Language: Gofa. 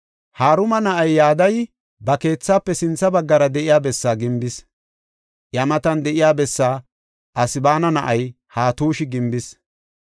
Haruma na7ay Yadayi ba keethaafe sintha baggara de7iya bessaa gimbis. Iya matan de7iya bessaa Asebaana na7ay Hatushi gimbis.